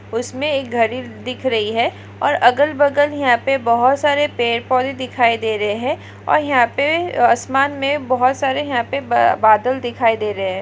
उसमे एक घड़ी दिख रही है और अगल बगल यहाँ पे बहुत सारे पेड़ पौधे दिखाई दे रहे है और यहाँ पे आसमान मे बहुत सारे यहा पे बादल दिखाई दे रहे है।